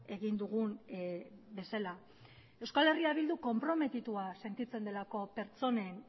egin dugun bezala euskal herria bildu konprometitua sentitzen delako pertsonen